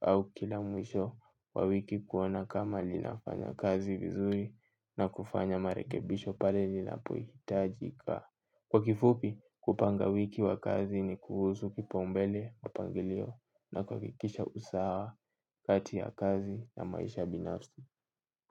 au kila mwisho wa wiki kuona kama linafanya kazi vizuri na kufanya marekebisho pale linapohitajika. Kwa kifupi kupanga wiki wa kazi ni kuhusu kipaumbele mpangilio na kuakikisha usawa kati ya kazi na maisha binafi.